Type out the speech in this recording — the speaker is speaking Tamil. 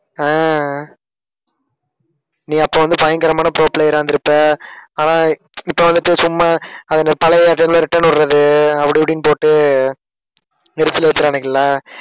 அஹ் நீ அப்ப வந்து பயங்கரமான pro player ஆ இருந்திருப்ப. ஆனா இப்ப வந்துட்டு சும்மா அதுல பழைய return விடுறது அப்படி இப்படின்னு போட்டு எரிச்சல் வைக்கிறானுங்க இல்ல?